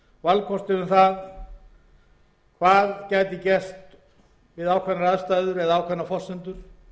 ýmsum málum það er hvað gæti gerst við ákveðnar aðstæður eða miðað við ákveðnar forsendur